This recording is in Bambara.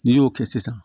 N'i y'o kɛ sisan